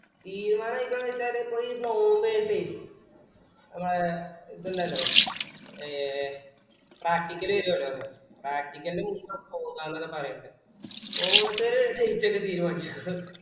തീരുമാനയിറ്റെന്ന് വെച്ചാല് ഇപ്പം follow up ചെയ്തിറ്റേ അപ്പൊ ഇത് ഇണ്ടലോ ഏ practical വെരുവല്ലോ practical ൻ്റെ മുമ്പ പോകാന്ന് ഒക്കെ പറീന്നിണ്ട് അപ്പൊ ഇത് limited തീരുമാനിച്ചു